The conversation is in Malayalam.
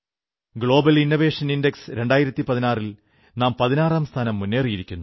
ഗ്ലോബൽ ഇന്നോവേഷൻ ഇൻഡക്സ് 2016 ൽ നാം 16 സ്ഥാനം മുന്നേറിയിരിക്കുന്നു